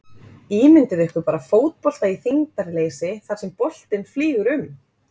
Ímyndið ykkur bara fótbolta í þyngdarleysi þar sem boltinn flýgur um!